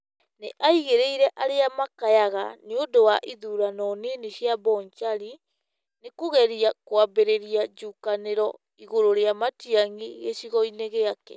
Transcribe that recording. Nĩ aigĩrĩire arĩa makayaga nĩ undũ wa ithurano nini cia Bonchari nĩ kũgeria kwambĩrĩria njũkaniro igũrũ rĩa Matiang'i gĩcigo-inĩ gĩake.